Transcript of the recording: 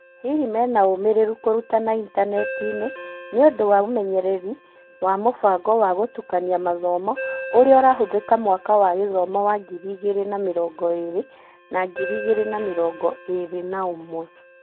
Hihi menaũmĩrĩru kũrutana intaneti-inĩ nĩũndũ wa ũmenyeri wa mũbango wa gũtukania mathomo ũrĩa ũrahũthĩka mwaka wa gĩthomo wa ngiri igĩrĩ na-mĩrongo-ĩrĩ na ngirĩ igĩrĩ na-mĩrongo-ĩrĩ na-ũmwe?